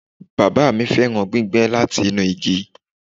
Baba mi fẹran gbígbẹ lati inu igi